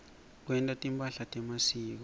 kwenta timphahla temasiko